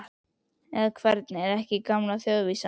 Eða, hvernig er ekki gamla þjóðvísan?